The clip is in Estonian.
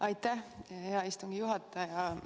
Aitäh, hea istungi juhataja!